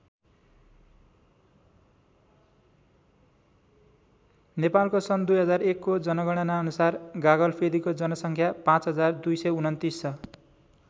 नेपालको सन् २००१ को जनगणना अनुसार गागलफेदीको जनसङ्ख्या पाँच हजार २२९ छ।